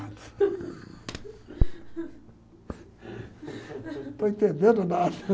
Não estou entendendo nada.